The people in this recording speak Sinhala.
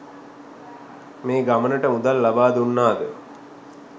මේ ගමනට මුදල් ලබා දුන්නාද?